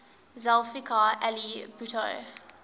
zulfikar ali bhutto